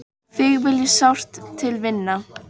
Þig vil ég sárt til vinna.